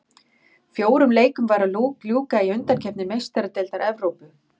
Fjórum leikjum var að ljúka í undankeppni Meistaradeildar Evrópu